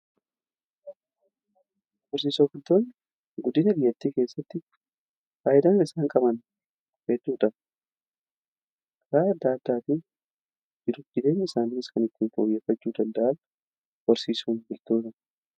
Horsiise bultoonni guddina biyyaatti keessatti faayidaan isaan qaban hedduudha. Karaa addaa addaatiin jireenya isaaniis kan ittiin fooyyeffachuu danda'an horsiisa looniini.